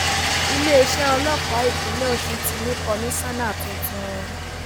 iléeṣẹ ọlọpàá ìpínlẹ ọsùn ti ní kọmíṣánná tuntun